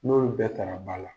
N'olu bɛɛ ta la ba la.